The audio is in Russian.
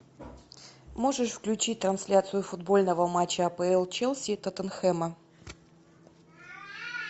можешь включить трансляцию футбольного матча апл челси и тоттенхэма